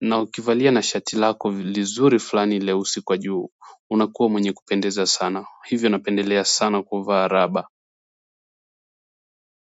na ukivalia na shati lako lizuri fulani leusi kwa juu unakuwa mwenye kupendeza sana hivyo napendelea sana kuvaa raba.